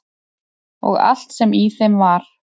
Og allt sem í þeim var.